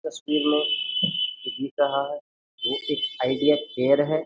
बस तीन लोग जों जीत रहा है वो आइडीया केयर है।